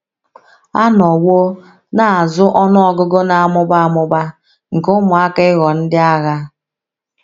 A nọwo na - azụ ọnụ ọgụgụ na - amụba amụba nke ụmụaka ịghọ ndị agha.